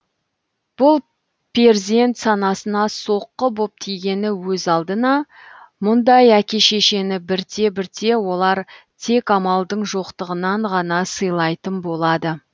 бұл перзент санасына соққы боп тигені өз алдына мұндай әке шешені бірте бірте олар тек амалдың жоқтығынан ғана сыйлайтын болады